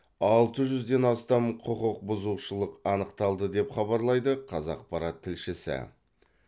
алты жүзден астам құқық бұзушылық анықталды деп хабарлайды қазақпарат тілшісі